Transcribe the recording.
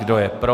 Kdo je pro?